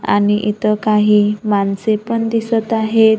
आणि इथं काही माणसे पण दिसत आहेत.